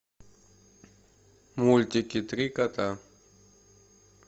мультики три кота